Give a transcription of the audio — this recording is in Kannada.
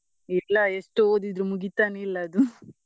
ಇಲ್ಲ ಎಷ್ಟು ಓದಿದ್ರು ಮುಗಿತಾನೆ ಇಲ್ಲ ಅದು.